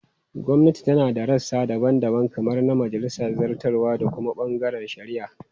Gwamnati tana da rassa daban-daban kamar na majalisa, zartarwa, da kuma bangaren shari'a.